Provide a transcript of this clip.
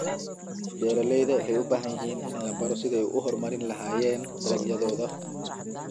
Beeralayda waxay u baahan yihiin in la baro sidii ay u horumarin lahaayeen dalagyadooda.